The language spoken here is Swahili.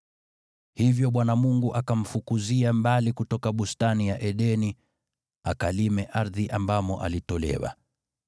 Hivyo Bwana Mungu akamfukuzia mbali kutoka Bustani ya Edeni, akalime ardhi ambamo alitolewa.